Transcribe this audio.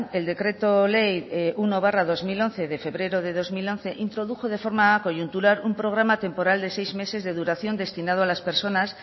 el decreto ley uno barra dos mil once de febrero de dos mil once introdujo de forma coyuntural un programa temporal de seis meses de duración destinado a personas